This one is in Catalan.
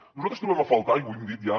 nosaltres trobem a faltar i ho hem dit ja